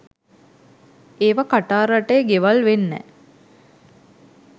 ඒවා කටාර් රටේ ගෙවල් වෙන්නැ?